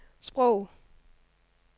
sprog